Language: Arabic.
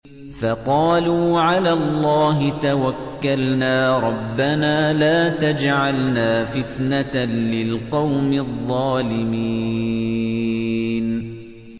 فَقَالُوا عَلَى اللَّهِ تَوَكَّلْنَا رَبَّنَا لَا تَجْعَلْنَا فِتْنَةً لِّلْقَوْمِ الظَّالِمِينَ